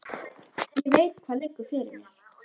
Ég veit hvað liggur fyrir mér.